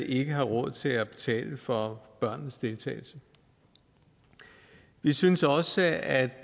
ikke har råd til at betale for børnenes deltagelse vi synes også at